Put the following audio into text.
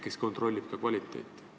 Kes kontrollib ka kvaliteeti?